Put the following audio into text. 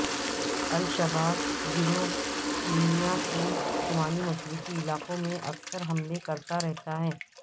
الشباب گروہ کینیا کے شمال مشرقی علاقوں میں اکثر حملے کرتا رہتا ہے